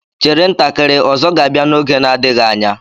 Chere ntakịrị, Ozo ga-abia n'oge na-adịghị anya.